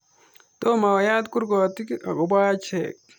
Toma oyat korkugotik akobo acheck.